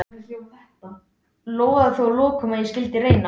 Lofaði þó að lokum að ég skyldi reyna.